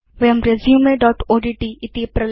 वयं resumeओड्ट्